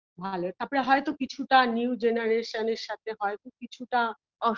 ভালো তারপরে হয়তো কিছুটা new generation -এর সাথে হয়তো কিছুটা